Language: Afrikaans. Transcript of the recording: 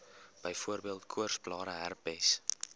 byvoorbeeld koorsblare herpes